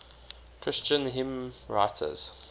christian hymnwriters